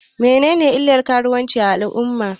Menene illan karuwanci a al'umma?